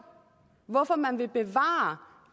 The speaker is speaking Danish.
hvorfor man vil bevare